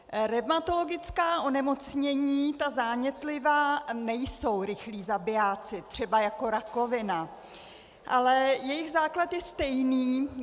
Revmatologická onemocnění, ta zánětlivá, nejsou rychlí zabijáci třeba jako rakovina, ale jejich základ je stejný.